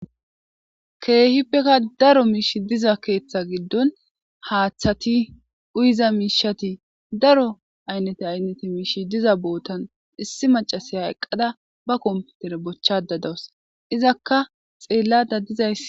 keehippeka daro miish diza keeththa giddon haaththati uyiza miishati daro aynnete aynnete miishi diza bootan issi macasiya eqqada ba komputere bochchada dawus izakka xeellada dizaysi.